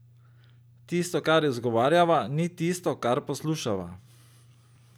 Tisto, kar izgovarjava, ni tisto, kar poslušava.